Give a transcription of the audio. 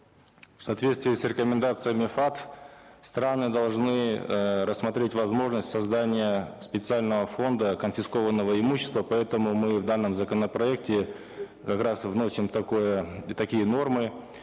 в соответствии с рекомендациями фат страны должны э рассмотреть возможность создания специального фонда конфискованного имущества поэтому мы в данном законопроекте как раз вносим такие нормы